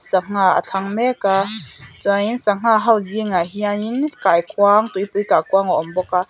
sangha a thlang mek a chuan in sangha ho zingah hian in kaikuang tuipui kaikuang a awmbawk a--